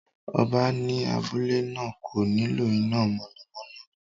Ọba ní abúlé náà kò nílò iná mọ̀nàmọ́ná